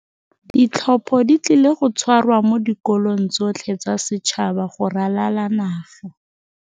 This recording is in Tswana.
Ditlhopho di tlile go tshwarwa mo dikolong tsotlhe tsa setšhaba go ralala naga.